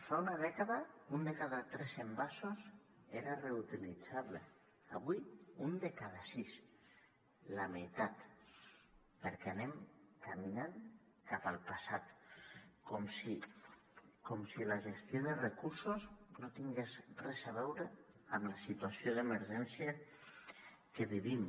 fa una dècada un de cada tres envasos era reutilitzable avui un de cada sis la meitat perquè anem caminant cap al passat com si la gestió de recursos no tingués res a veure amb la situació d’emergència que vivim